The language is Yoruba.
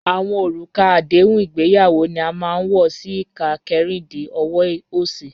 Awọn orúkà àdéhùn ìgbéyàwó ni a máa n wọ sí ìkà kẹ́rìndí ọ̀wọ̀ osì.